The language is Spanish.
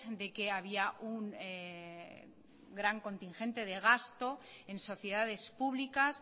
de que había un gran contingente de gasto en sociedades públicas